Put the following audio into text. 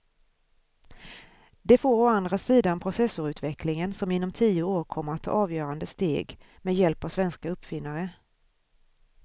Det får å andra sidan processorutvecklingen som inom tio år kommer att ta avgörande steg med hjälp av svenska uppfinnare.